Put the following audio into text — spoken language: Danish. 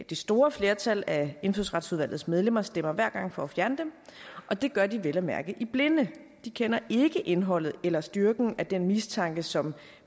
det store flertal af indfødsretsudvalgets medlemmer stemmer hver gang for at fjerne dem og det gør de vel at mærke i blinde de kender ikke indholdet eller styrken af den mistanke som